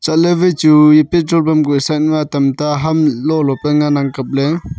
chatley wai chu e petro pam kuh side ma tamta ham lo lo phe ngan ang kapley.